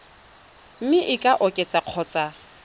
mme e ka oketswa kgotsa